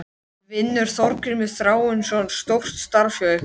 Vinnur Þorgrímur Þráinsson stórt starf hjá ykkur??